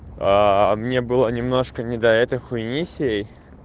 мне было немножко не до этой хуйни всей